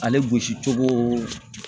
Ale gosi cogo